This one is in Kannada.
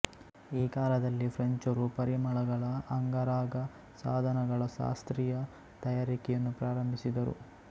ಈ ಕಾಲದಲ್ಲೆ ಫ್ರೆಂಚರು ಪರಿಮಳಗಳ ಅಂಗರಾಗಸಾಧನಗಳ ಶಾಸ್ತ್ರೀಯ ತಯಾರಿಕೆಯನ್ನು ಪ್ರಾರಂಭಿಸಿದರು